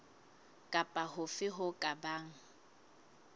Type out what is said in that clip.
kapa hofe ho ka bang